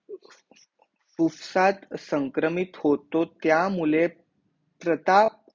उफसात संक्रमित होतो त्या मुले प्रता